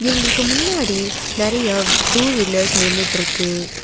இவுங்ளுக்கு முன்னாடி நறியா two wheelers நின்னுட்ருக்கு.